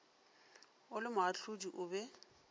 o le moahlodi o be